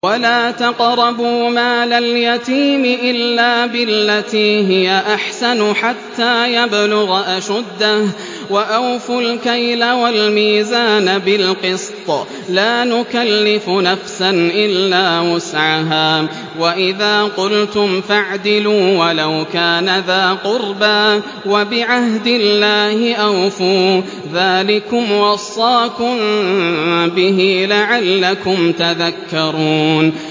وَلَا تَقْرَبُوا مَالَ الْيَتِيمِ إِلَّا بِالَّتِي هِيَ أَحْسَنُ حَتَّىٰ يَبْلُغَ أَشُدَّهُ ۖ وَأَوْفُوا الْكَيْلَ وَالْمِيزَانَ بِالْقِسْطِ ۖ لَا نُكَلِّفُ نَفْسًا إِلَّا وُسْعَهَا ۖ وَإِذَا قُلْتُمْ فَاعْدِلُوا وَلَوْ كَانَ ذَا قُرْبَىٰ ۖ وَبِعَهْدِ اللَّهِ أَوْفُوا ۚ ذَٰلِكُمْ وَصَّاكُم بِهِ لَعَلَّكُمْ تَذَكَّرُونَ